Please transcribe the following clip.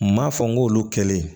M'a fɔ n k'olu kɛlen